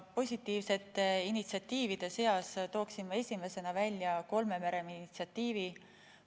Positiivsete initsiatiivide seas tooksin esimesena välja kolme mere initsiatiivi.